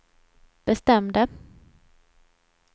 bestämde